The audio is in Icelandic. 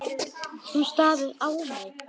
Hún starir á mig.